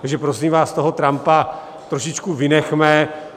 Takže prosím vás, toho Trumpa trošičku vynechme.